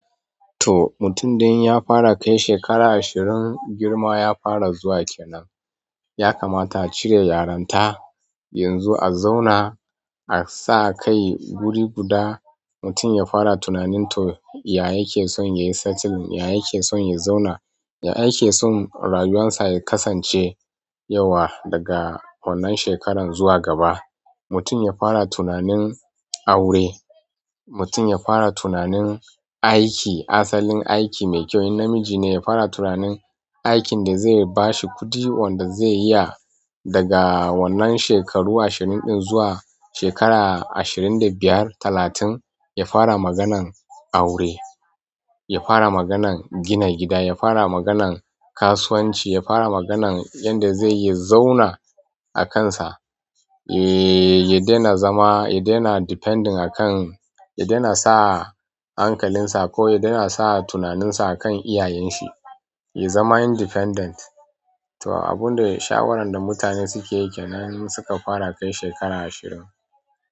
To mutum dan ya fara kai shekara ashirin, girma ya fara zuwa kenan. Ya kamata a cire yaranta. Yanzu a zauna a sa kai guri guda, mutum ya fara tunanin to ya yake son ya yi satin, ya yake son ya zauna, ya yake son rayuwarsa ya kasance yauwa daga wannan shekaran zuwa gaba. Mutum ya fara tunanin aure. Mutum ya fara tunanin aiki, asalin aiki mai kyau. In namiji ne, ya fara tunanin aikin da zai bashi kuɗi wanda zai iya daga wannan shekaru ashirin ɗin zuwa shekara ashirin da biyar, talatin. Ya fara maganan aure. Ya fara maganan gina gida. Ya fara maganan kasuwanci. Ya fara maganan yanda zai yi zauna akansa. Eh, ya daina zama, ya daina depending akan, ya daina sa hankalinsa ko ya daina sa tunaninsa a kan iyayen shi. Ya zama independent. To abunda shawaran da mutane sukeyi kenan in suka fara kai shekara ashirin.